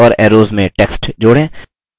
lines और arrows में text जोड़ें